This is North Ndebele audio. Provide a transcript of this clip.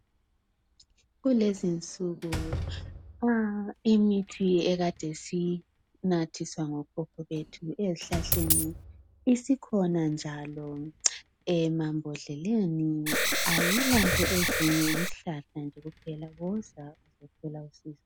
Kulezinsuku imithi ekade siyinathiswa ngokhokho bethu ezihlahleni isikhona njalo emambodleleni. Kayilazinto ezinengi. Yisihkahla nhe kupheka. Woza uzothola usizo.